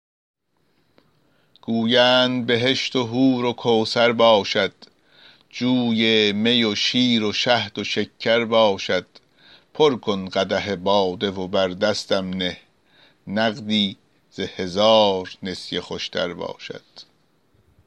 گویند بهشت و حور و کوثر باشد جوی می و شیر و شهد و شکر باشد پر کن قدح باده و بر دستم نه نقدی ز هزار نسیه خوش تر باشد